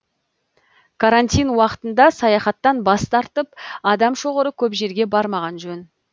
карантин уақытында саяхаттан бас тартып адам шоғыры көп жерге бармаған жөн